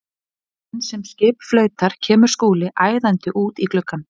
Í hvert sinn sem skip flautar kemur Skúli æðandi út í gluggann.